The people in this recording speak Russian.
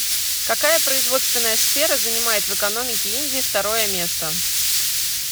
какая производственная сфера занимает в экономике индии второе место